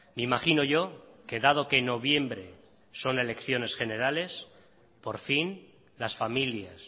me imaginó yo que dado que noviembre son elecciones generales por fin las familias